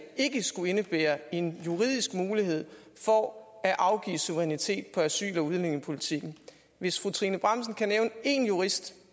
ikke skulle indebære en juridisk mulighed for at afgive suverænitet på asyl og udlændingepolitikken hvis fru trine bramsen kan nævne én jurist